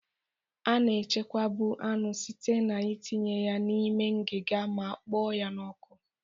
A na-echekwabu anụ site n'itinye ya n'ime ngiga ma kpoo ya n'ọkụ.